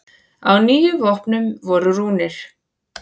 Á níu vopnum voru rúnir.